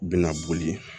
Bɛna boli